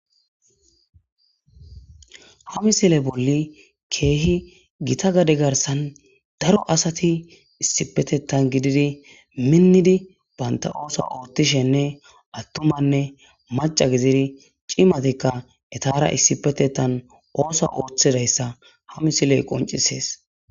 Haa missile bolli kehi Gita gade garissanni daro asati , issipetetan gididi minidi banita oththo oththishinne atumanne maca gididi cemattikka etara issipetetan oththuwa oththiyissa haa missileyi qonccisess.